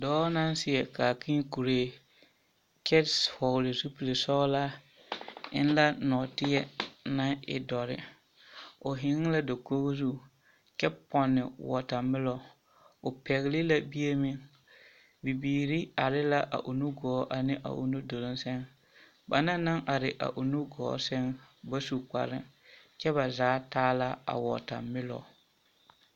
Dɔɔ naŋ seɛ kaakēē kuree kyɛ hɔgele zupili sɔgelaa eŋ la nɔɔteɛ naŋ e dɔre, o hɛŋ la dakogi zu kyɛ pɔnne wɔɔtamelɔ, o pɛgele la bie meŋ, bibiiri are la a o nu gɔɔ ane a o nu duluŋ seŋ banaŋ naŋ are a o nu gɔɔ seŋ ba su kpare kyɛ ba zaa taa la a wɔɔtamelɔ.